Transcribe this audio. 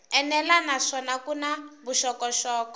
enela naswona ku na vuxokoxoko